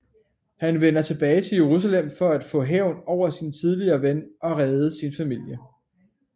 Han vender tilbage til Jerusalem for at få hævn over sin tidligere ven og redde sin familie